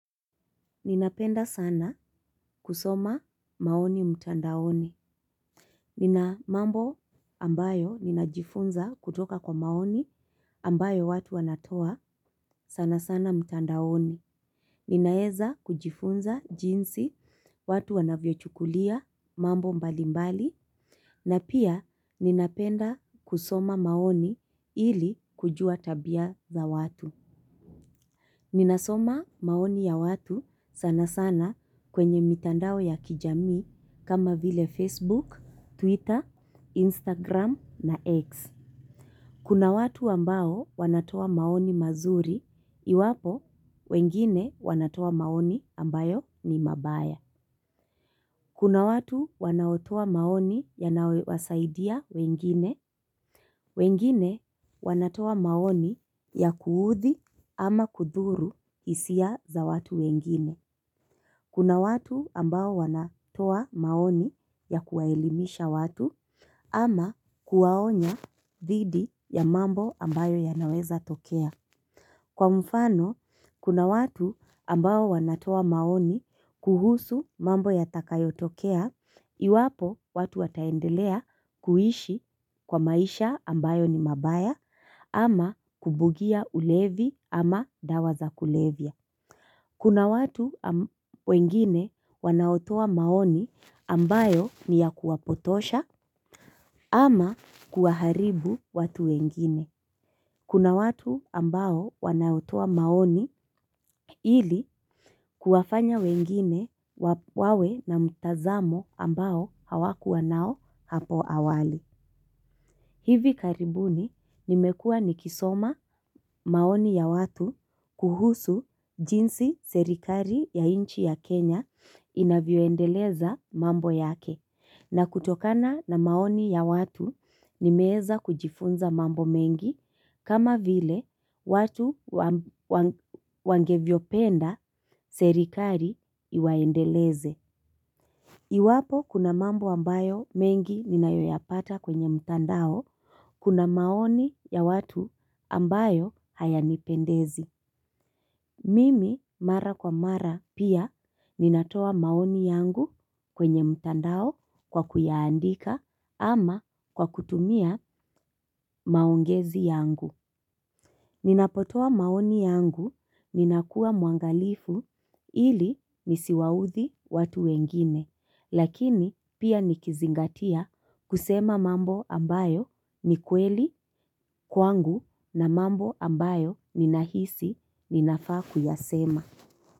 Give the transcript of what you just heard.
Ninapenda sana kusoma maoni mtandaoni. Nina mambo ambayo ninajifunza kutoka kwa maoni ambayo watu wanatoa sana sana mtandaoni. Ninaeza kujifunza jinsi watu wanavyo chukulia mambo mbali mbali. Na pia ninapenda kusoma maoni ili kujua tabia za watu. Ninasoma maoni ya watu sana sana kwenye mitandao ya kijami kama vile Facebook, Twitter, Instagram na X. Kuna watu ambao wanatoa maoni mazuri, iwapo wengine wanatoa maoni ambayo ni mabaya. Kuna watu wanaotoa maoni yanayowasaidia wengine, wengine wanatoa maoni ya kuudhii ama kudhuru hisia za watu wengine. Kuna watu ambao wanatoa maoni ya kuwaelimisha watu ama kuwaonya thidi ya mambo ambayo yanaweza tokea. Kwa mfano, kuna watu ambao wanatoa maoni kuhusu mambo yatakayotokea, iwapo watu wataendelea kuishi kwa maisha ambayo ni mabaya ama kubugia ulevi ama dawa za kulevya. Kuna watu wengine wanaotoa maoni ambayo ni ya kuwapotosha ama kuwaharibu watu wengine. Kuna watu ambao wanaotua maoni ili kuwafanya wengine wawe na mtazamo ambao hawakuwa nao hapo awali. Hivi karibuni nimekua nikisoma maoni ya watu kuhusu jinsi serikari ya inchi ya Kenya inavyoendeleza mambo yake. Na kutokana na maoni ya watu nimeeza kujifunza mambo mengi kama vile watu wangevyopenda serikari iwaendeleze. Iwapo kuna mambo ambayo mengi ninayoyapata kwenye mtandao kuna maoni ya watu ambayo hayanipendezi. Mimi mara kwa mara pia ninatoa maoni yangu kwenye mtandao kwa kuyaandika ama kwa kutumia maongezi yangu. Ninapotoa maoni yangu ninakua mwangalifu ili nisiwaudhi watu wengine. Lakini pia nikizingatia kusema mambo ambayo ni kweli kwangu na mambo ambayo ninahisi ninafaa kuyasema.